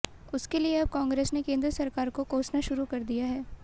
उसके लिए अब कांग्रेस ने केन्द्र सरकार को कोसना शुरू कर दिया है